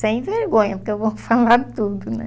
Sem vergonha, porque eu vou falar tudo, né?